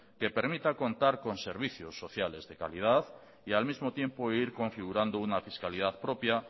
que permita contar son servicios sociales de calidad y al mismo tiempo vivir configurando una fiscalidad propia